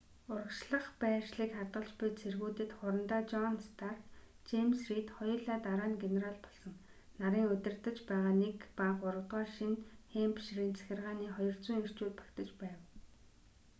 урагшлах байршлыг хадгалж буй цэргүүдэд хурандаа жон старк жэймс рийд хоёулаа дараа нь генерал болсон нарын удирдаж байгаа 1 ба 3-р шинэ хэмпширийн захиргааны 200 эрчүүд багтаж байв